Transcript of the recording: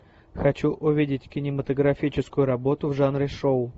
хочу увидеть кинематографическую работу в жанре шоу